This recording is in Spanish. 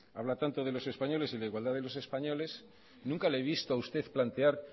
habla tanto de los españoles y de la igualdad de los españoles nunca le he visto a usted plantear